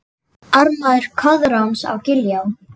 Ármaður Koðráns á Giljá